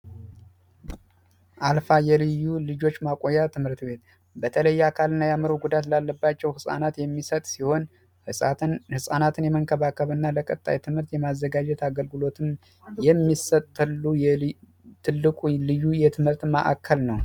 አልፋ የልዮ ልጆች ማቆያ ትምህርት ቤት በተለይ አካል ጉዳት ላለባቸው ጻናት የሚሰጥ ሲሆን ነፃነትን የመንከባከብና ለቀጣይ ማዘጋጀት አገልግሎት የሚሠጥ የልዩ ልዩ የትምህርት ማዕከል ነው ፡፡